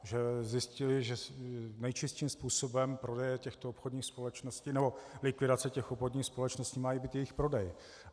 Že zjistili, že nejčistším způsobem prodeje těchto obchodních společností nebo likvidace těch obchodních společností má být jejich prodej.